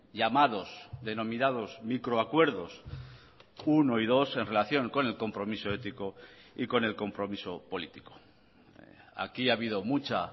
llamados denominados microacuerdos uno y dos en relación con el compromiso ético y con el compromiso político aquí ha habido mucha